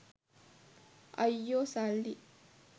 අයියෝ සල්ලි